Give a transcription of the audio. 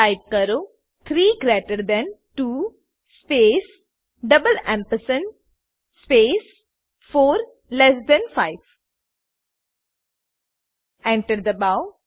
type કરો 3 greater than 2 space double ampersand space 4 less than 5 Enter દબાઓ